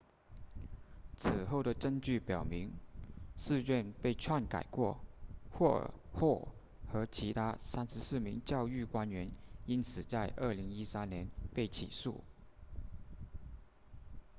此后的证据表明试卷被篡改过霍尔 hall 和其他34名教育官员因此在2013年被起诉